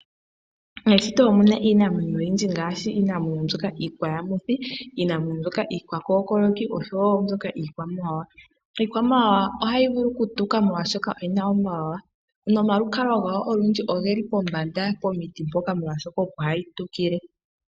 Meshito omu na iinamwenyo oyindji ngaashi iinamwenyo mbyoka iikwayamuthi, iinamwenyo mbyoka iikwakokoloki osho wo iikwamawawa. Iikwamawawa ohayi vulu okutuka molwaashoka oyi na omawawa nomalukalwa gayo olundji ogeli pombanda pomiti mpoka molwaashoka opo hayi tukile.